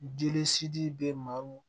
Jeli sidi bɛ maaw